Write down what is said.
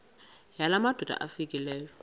yala madoda amfikeleyo